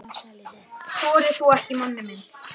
Hún brosti bjartar en Pamela.